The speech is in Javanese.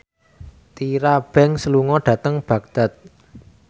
Tyra Banks lunga dhateng Baghdad